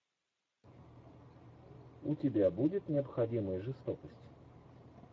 у тебя будет необходимая жестокость